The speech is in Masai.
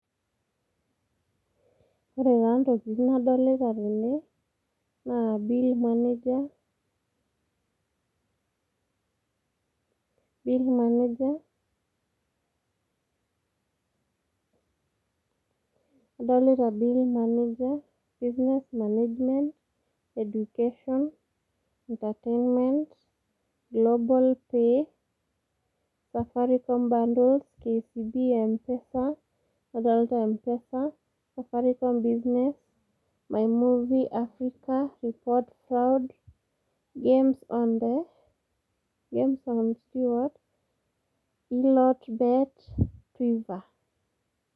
Ore taa ntokitin nadolita tene naa [s] bill manager , bill manager adolita bill manager , business management ,education, entertainment, global pay safaricom bundles , kcb empesa , nadolita empesa ,nadolita business , my movie africa, report fraud, games on the, games on the,